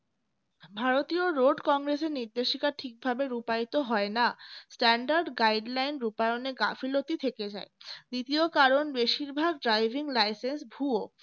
ভারতীয় road কংগ্রেসের নির্দেশিকা ঠিকভাবে রূপায়িত হয় না standard guideline রুপায়নের গাফিলতি থেকে যায় দ্বিতীয় কারণ বেশিরভাগ driving licence ভুয়ো